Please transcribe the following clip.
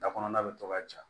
Da kɔnɔna bɛ to ka ja